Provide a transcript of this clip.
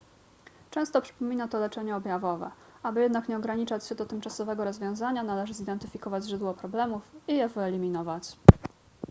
często przypomina to leczenie objawowe aby jednak nie ograniczać się do tymczasowego rozwiązania należy zidentyfikować źródło problemów i je wyeliminować